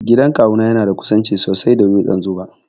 Gidan kawu na yana da kusanci sosai da dutsen 'Zuba'.